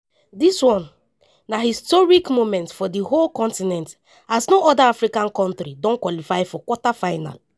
dis na one historic moment for di whole continent as no oda africa kontri don qualify for quarter final.